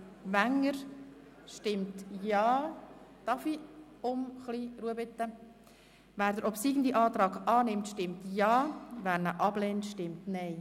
Wer Artikel 181 Absatz 2 genehmigt, stimmt Ja, wer diesen ablehnt, stimmt Nein.